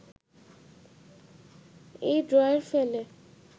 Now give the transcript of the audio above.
এই ড্রয়ের ফলে